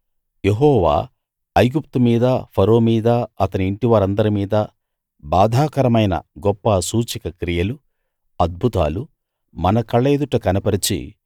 యెహోవా ఐగుప్తు మీదా ఫరో మీదా అతని ఇంటివారందరి మీదా బాధాకరమైన గొప్ప సూచకక్రియలూ అద్భుతాలూ మన కళ్ళ ఎదుట కనపరచి